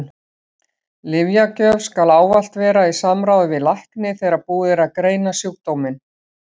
Lyfjagjöf skal ávallt vera í samráði við lækni þegar búið er að greina sjúkdóminn.